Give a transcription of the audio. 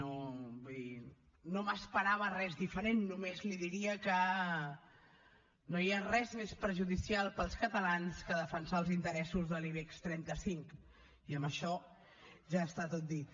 vull dir no m’esperava res diferent només li diria que no hi ha res més perjudicial per als catalans que defensar els interessos de l’ibex trenta cinc i amb això ja està tot dit